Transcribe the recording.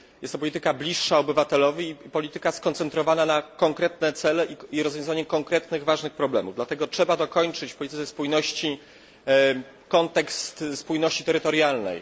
Jest to polityka bliższa obywatelowi, skoncentrowana na konkretnych celach i rozwiązaniu konkretnych ważnych problemów. Dlatego trzeba dokończyć w polityce spójności kontekst spójności terytorialnej.